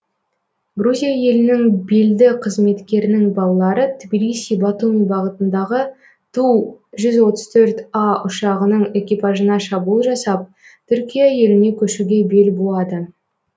грузия елінің белді қызметкерінің балалары тбилиси батуми бағытындағы ту жүз отыз төрт а ұшағының экипажына шабуыл жасап түркия еліне көшуге бел буады